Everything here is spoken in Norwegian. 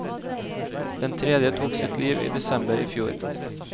Den tredje tok sitt liv i desember i fjor.